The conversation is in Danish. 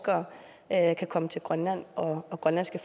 at forskere kan komme til grønland og grønlandske